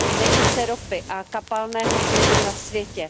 nejvíce ropy a kapalného plynu na světě.